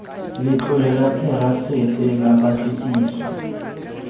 letlole la therasete la patlisiso